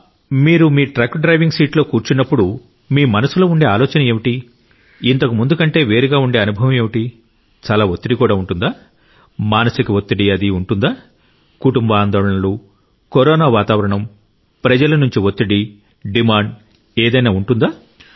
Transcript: మీరు మీ truck driving సీటులో కూర్చున్నప్పుడు మీ మనసులో ఉండే ఆలోచన ఏంటి ఇంతకుముందు కంటే వేరుగా ఉండే అనుభవం ఏమిటి చాలా ఒత్తిడి కూడా ఉంటుందా మానసిక ఒత్తిడి ఉంటుందా కుటుంబ ఆందోళనలు కరోనా వాతావరణం ప్రజల నుండి ఒత్తిడి డిమాండ్ ఏదైనా ఉంటుందా